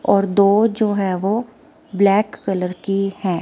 और दो जो है वो ब्लैक कलर की है।